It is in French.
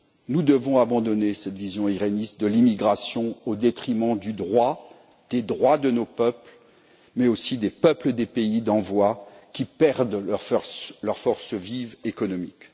Nous devons abandonner cette vision iréniste de l'immigration au détriment du droit, des droits de nos peuples, mais aussi des peuples des pays d'envoi, qui perdent leur force vive économique.